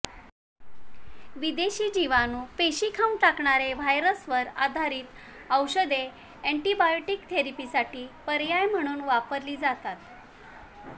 विदेशी जीवाणू पेशी खाऊन टाकणारे व्हायरसवर आधारित औषधे एंटीबायोटिक थेरपीसाठी पर्याय म्हणून वापरली जातात